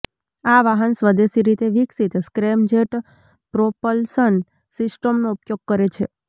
આ વાહન સ્વદેશી રીતે વિકસિત સ્ક્રેમજેટ પ્રોપલ્શન સિસ્ટમનો ઉપયોગ કરે છે